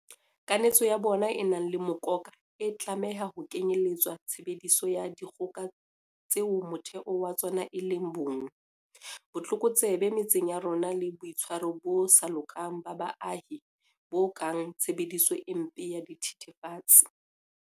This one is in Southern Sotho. Kanetso ya bona e nang le mokoka e tlameha ho kenyeletsa tshebediso ya dikgoka tseo motheo wa tsona e leng bong, botlokotsebe metseng ya rona le boitshwaro bo sa lokang ba baahi bo kang tshebediso e mpe ya dithe thefatsi.